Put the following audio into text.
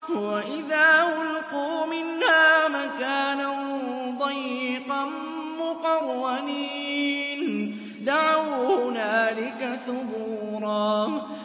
وَإِذَا أُلْقُوا مِنْهَا مَكَانًا ضَيِّقًا مُّقَرَّنِينَ دَعَوْا هُنَالِكَ ثُبُورًا